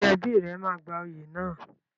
Ṣé ẹbí rẹ máa gba oyè náà?